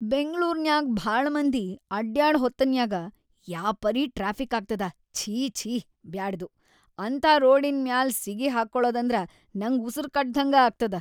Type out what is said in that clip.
ಬೆಂಗ್ಳೂರ್‌ನ್ಯಾಗ್ ಭಾಳ ಮಂದಿ ಅಡ್ಯಾಡ ಹೊತ್ತನ್ಯಾಗ ಯಾಪರಿ ಟ್ರಾಫಿಕ್‌ ಆಗ್ತದ ಛೀ, ಛೀ, ಬ್ಯಾಡದು. ಅಂಥಾ ರೋಡಿನ್‌ ಮ್ಯಾಲ್‌ ಸಿಗಿಹಾಕ್ಕೋಳದಂದ್ರ ನಂಗ್ ಉಸರ್‌ಗಟ್ಟದ್ಹಂಗ ಆಗ್ತದ.